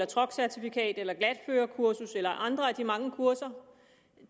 truckcertifikat glatførekursus eller andre af de mange kurser